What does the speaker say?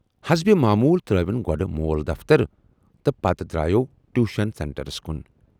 حسبہِ معموٗل ترایون گۅڈٕ مول دفترٕ تہٕ پتہٕ درایوو ٹیوشن سینٹرس کُن۔